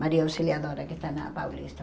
Maria Auxiliadora, que está na Paulista.